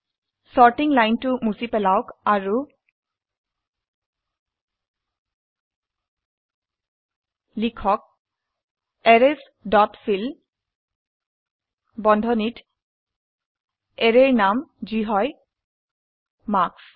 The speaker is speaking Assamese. সৰ্টিং লাইনটো মুছি পেলাওক আৰু লিখক এৰেইছ ডট ফিল বন্ধনীত অ্যাৰেৰ নাম যি হয় মাৰ্কছ